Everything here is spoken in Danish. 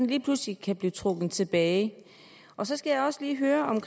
lige pludselig kan blive trukket tilbage så skal jeg også lige høre om